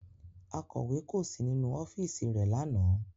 Akọ̀wé kò sí nínú ọ́fíìsì rẹ̀ lánàá